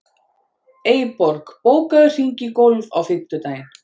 Eyborg, bókaðu hring í golf á fimmtudaginn.